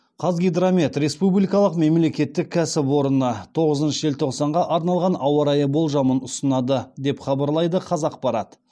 қазгидромет республикалық мемлекеттік кәсіпорыны тоғызыншы желтоқсанға арналған ауа райы болжамын ұсынады деп хабарлайды қазақпарат